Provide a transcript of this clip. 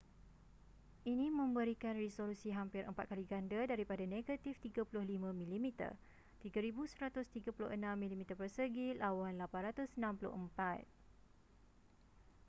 ini memberikan resolusi hampir empat kali ganda daripada negatif 35 mm 3136 mm2 lawan 864